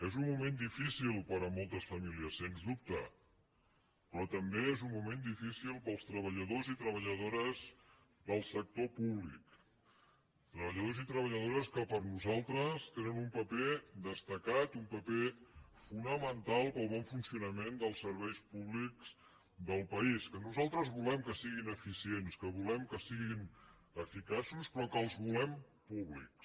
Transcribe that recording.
és un moment difícil per a moltes famílies sens dubte però també és un moment difícil per als treballadors i treballadores del sector públic treballadors i treballadores que per nosaltres tenen un paper destacat i un paper fonamental per al bon funcionament dels serveis públics del país que nosaltres volem que siguin eficients que volem que siguin eficaços però que els volem públics